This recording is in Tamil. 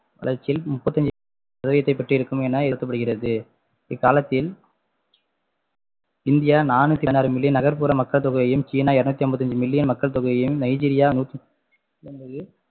வளர்ச்சியில் முப்பத்தஞ்சு சதவீதத்தை பெற்றிருக்கும் என இக்காலத்தில் இந்தியா நானூத்தி ஆறு million நகர்ப்புற மக்கள்தொகையும் சீனா இருநூத்தி ஐம்பத்தஞ்சு million மக்கள் தொகையையும் நைஜீரியா நூற்று